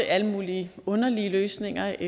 alle mulige underlige løsninger